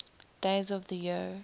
days of the year